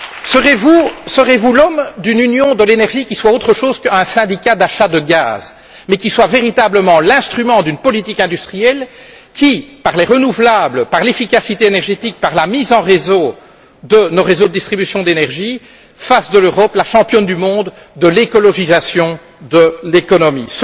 Serez vous l'homme d'une union de l'énergie qui soit autre chose qu'un syndicat d'achat de gaz, mais qui soit véritablement l'instrument d'une politique industrielle qui, par les renouvelables, l'efficacité énergétique et par la mise en réseau de nos réseaux de distribution de l'énergie fasse de l'Europe la championne du monde de l'écologisation de l'économie?